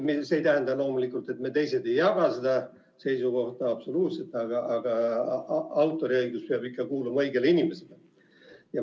See ei tähenda loomulikult, et meie ei jaga seda seisukohta, aga autoriõigus peab ikka kuuluma õigele inimesele.